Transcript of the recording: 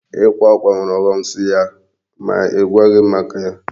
Ịkpa akwa nwere ọghọm so ya n'igwaghị m maka ya.